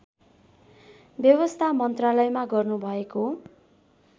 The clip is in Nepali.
व्यवस्था मन्त्रालयमा गर्नुभएको